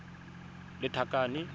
lethakane